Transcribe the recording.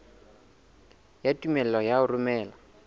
ya tumello ya ho romela